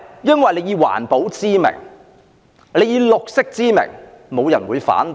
因為政府以環保、綠色為名，沒有人會反對。